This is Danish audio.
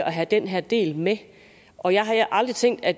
have den her del med og jeg har aldrig tænkt at